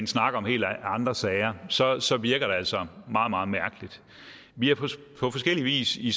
snakker om helt andre sager så så virker det altså meget meget mærkeligt vi har på forskellig vis i